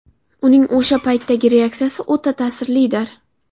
Uning o‘sha paytdagi reaksiyasi o‘ta ta’sirlidir.